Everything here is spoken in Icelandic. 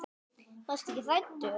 En varstu ekki hræddur?